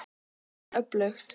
Það er öflugt.